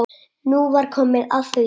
Nú var komið að því.